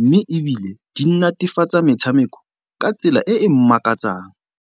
mme ebile di natefatsa metshameko ka tsela e e makatsang.